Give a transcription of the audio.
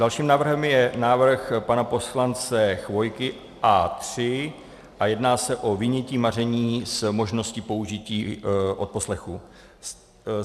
Dalším návrhem je návrh pana poslance Chvojky A3 a jedná se o vynětí maření s možností použití odposlechu.